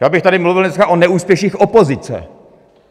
Já bych tady mluvil dneska o neúspěších opozice.